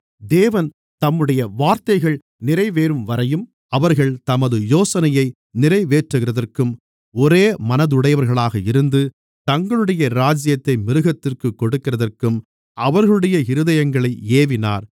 தேவன் தம்முடைய வார்த்தைகள் நிறைவேறும்வரையும் அவர்கள் தமது யோசனையை நிறைவேற்றுகிறதற்கும் ஒரே மனதுடையவர்களாக இருந்து தங்களுடைய ராஜ்யத்தை மிருகத்திற்குக் கொடுக்கிறதற்கும் அவர்களுடைய இருதயங்களை ஏவினார்